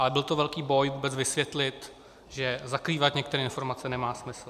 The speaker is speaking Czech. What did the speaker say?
A byl to velký boj vůbec vysvětlit, že zakrývat některé informace nemá smysl.